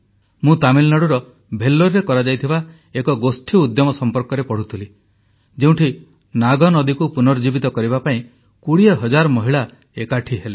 ମୁଁ ତାମିଲନାଡ଼ୁର ଭେଲ୍ଲୋରରେ କରାଯାଇଥିବା ଏକ ଗୋଷ୍ଠୀ ଉଦ୍ୟମ ସମ୍ପର୍କରେ ପଢ଼ୁଥିଲି ଯେଉଁଠି ନାଗ ନଦୀକୁ ପୁନର୍ଜୀବିତ କରିବା ପାଇଁ 20 ହଜାର ମହିଳା ଏକାଠି ହେଲେ